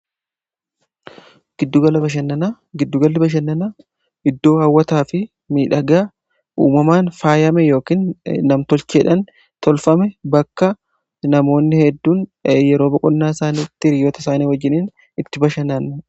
giddugala bashannanaa, giddugala bashannana iddoo hawwataa fi miidhaga uumamaan faayame yookaan namtolcheedhan tolfame bakka namoonni hedduun yeroo boqonnaa isaaniitti hiriyyoota isaanii wajjiniin itti bashanani.